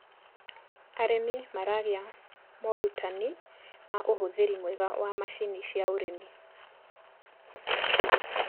arĩmi maragia morutanĩ ma uhuthiri mwega wa macinĩ cia ũrĩmi